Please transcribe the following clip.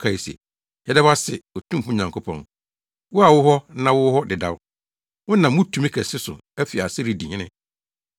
kae se, “Yɛda wo ase, Otumfo Onyankopɔn, wo a wowɔ hɔ na wowɔ hɔ dedaw, wonam wo tumi kɛse so afi ase redi hene!